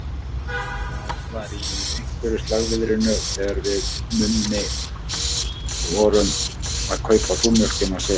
Það var í einhverju slagviðrinu þegar við Mummi vorum að kaupa súrmjólkina sem